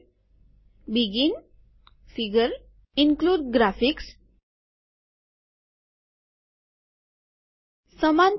begin figure include graphics સમાન પહોળાઇ સાથે